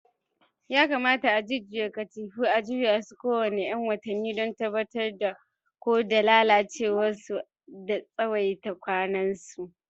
Yakamata a jujjuya katifu a juya su kowane ƴan watanni don tabbatar da ko da lalacewa da tsawaita kwanansu.